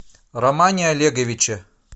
романе олеговиче